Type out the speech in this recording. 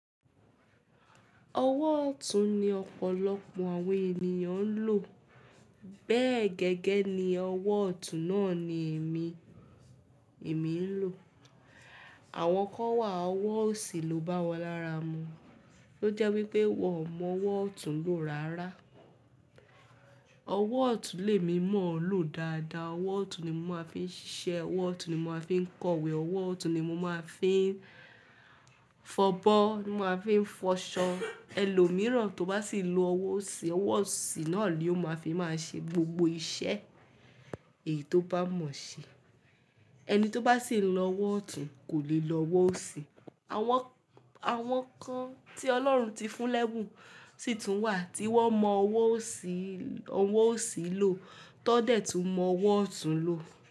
Ọwọ́ ọ̀tún ni ọ̀pọ̀lọpọ̀ àwọn ènìyàn ń lò. Bẹ́ẹ̀ gẹ́gẹ́ ni ọwọ́ ọ̀tún náà ni èmi, èmi ń lò. Àwọn kan wà, ọwọ́ òsì ló bá wọn lára mu. Ó jẹ́ wípé wọ́n ò mọ ọwọ́ ọ̀tún lò rárá. Ọwọ́ ọ̀tún lè mímọ̀ ọ́ lò dáadáa. Ọwọ́ ọ̀tún ni mo máa ń fi ń ṣiṣẹ́, ọwọ́ ọ̀tún ni mo máa ń fi ń kọwé, ọwọ́ ọ̀tún ni mo máa ń fi ń fọbọ́, mo máa ń fi ń fọṣọ. Ẹlòmíràn tó bá sì ń lo ọwọ́ òsì, ọwọ́ òsì náà ni ó máa fi máa ṣe gbogbo iṣẹ́ èyí tó bá mọ̀ ṣe. Ẹni tó bá sì ń lo ọwọ́ ọ̀tún kò lè lo ọwọ́ òsì. Àwọn, àwọn kan tí Ọlọ́run ti fún lẹ́bùn sì tún wà tí wọ́n mọ ọwọ́ òsì, ọwọ́ òsì lò tan dẹ̀ ẹ tú mọ ọwọ́ ọ̀tún lò.